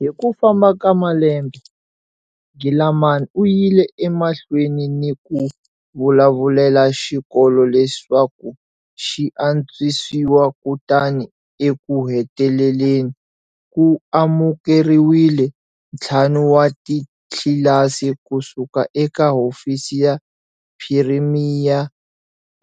Hi ku famba ka malembe, Gilaman u yile emahlweni ni ku vulavulela xikolo leswaku xi antswisiwa kutani ekuheteleleni, ku amukeriwile ntlhanu wa titlilasi ku suka eka Hofisi ya Phirimiya